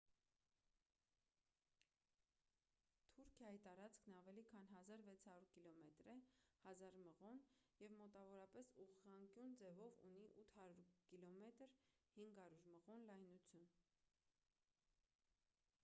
թուրքիայի տարածքն ավելի քան 1,600 կիլոմետր է 1,000 մղոն և մոտավորապես ուղղանկյուն ձևով ունի 800 կմ 500 մղոն լայնություն: